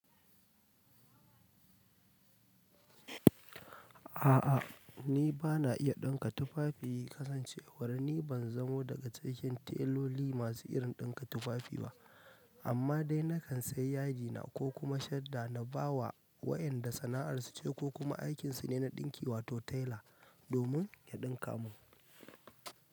A'a, ni ba na iya ɗinka tufafi. Kasancewar ni ban zamo daga cikaken tailoli masu irin ɗinka tufafi ba. Amma dai na kan sai yadi na ko kuma shadda na ba wa wa'yanda sana'ar su ce ko kuma aikin su ne na ɗinki wato taila domin ya ɗinka mun.